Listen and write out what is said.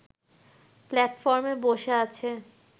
প্লাটফর্মে বসে আছে